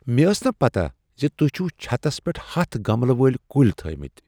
مےٚ ٲس نہٕ پتاہ زِ تۄہہ چھو چھتس پٮ۪ٹھ ہتھَ گملہٕ وٲلۍ کُلۍ تھٲمِت۔